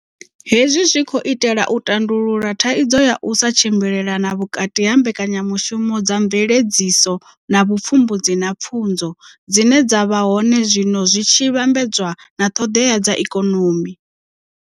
Hezwi zwi khou itela u tandulula thaidzo ya u sa tshimbilelana vhukati ha mbekanyamushumo dza mveledziso na vhupfumbudzi na pfunzo dzine dza vha hone zwino zwi tshi vhambedzwa na ṱhoḓea dza ikonomi.